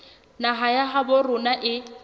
naha ya habo rona e